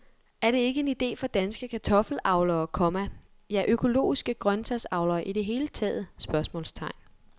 Er det ikke en idé for danske kartoffelavlere, komma ja økologiske grøntsagsavlere i det hele taget? spørgsmålstegn